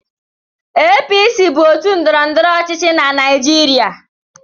APC bụ òtù ndọrọndọrọ ọchịchị na Naịjirịa.